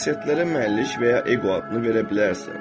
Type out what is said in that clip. Şəxsiyyətlərə mənlik və ya eqo adını verə bilərsən